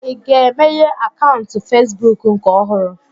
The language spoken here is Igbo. Ị ga-emeghe akaụntụ Fesbụụk nke ọhụrụ?